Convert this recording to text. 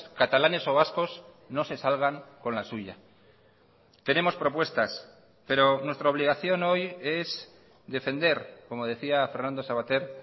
catalanes o vascos no se salgan con la suya tenemos propuestas pero nuestra obligación hoy es defender como decía fernando savater